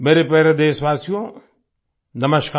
मेरे प्यारे देशवासियो नमस्कार